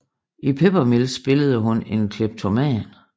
I Peppermills spillede hun en kleptoman